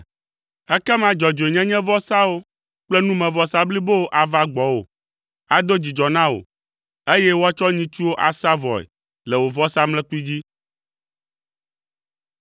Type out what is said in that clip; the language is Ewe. Ekema dzɔdzɔenyenyevɔsawo kple numevɔsa blibowo ava gbɔwò, ado dzidzɔ na wò, eye woatsɔ nyitsuwo asa vɔe le wò vɔsamlekpui dzi.